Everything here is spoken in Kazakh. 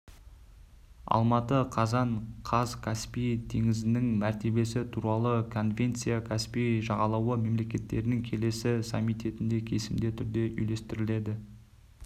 алматы қазан қаз каспий теңізінің мәртебесі туралы конвенция каспий жағалауы мемлекеттерінің келесі саммитінде кесімді түрде үйлестіріледі